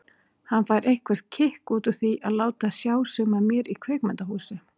Hann fær eitthvert kikk út úr því að láta sjá sig með mér í kvikmyndahúsi.